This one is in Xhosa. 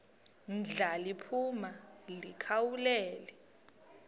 ndla liphuma likhawulele